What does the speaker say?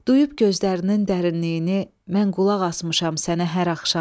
Duyub gözlərinin dərinliyini, mən qulaq asmışam sənə hər axşam.